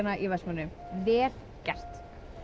í Vestmannaeyjum vel gert